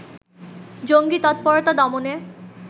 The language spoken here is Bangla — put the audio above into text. জঙ্গী তৎপরতা দমনে